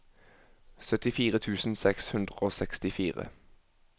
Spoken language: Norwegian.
syttifire tusen seks hundre og sekstifire